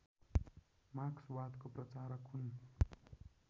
मार्क्सवादका प्रचारक हुन्